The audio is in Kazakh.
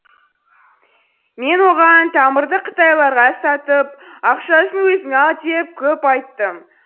мен оған тамырды қытайларға сатып ақшасын өзің ал деп көп айттым